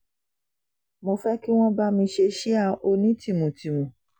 mo fẹ́ kí wọ́n bá mi ṣe síá onítìmùtìmù